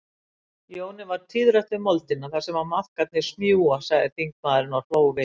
Jóni varð tíðrætt um moldina þar sem maðkarnir smjúga, sagði þingmaðurinn og hló við.